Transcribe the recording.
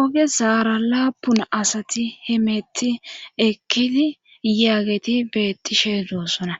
Oge zaara laapun asati hemetti ekkiti yaageti bettishe zoossona